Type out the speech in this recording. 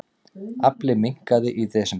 Afli minnkaði í desember